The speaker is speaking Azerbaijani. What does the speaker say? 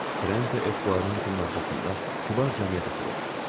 Trente Etquaranteın arxasında kübar cəmiyyət oturur.